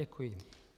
Děkuji.